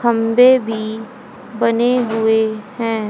खंबे भी बने हुए हैं।